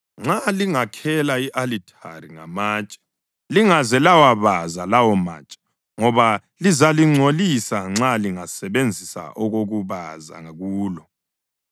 Nxa lingakhela i-alithari ngamatshe, lingaze lawabaza lawomatshe ngoba lizalingcolisa nxa lingasebenzisa okokubaza kulo.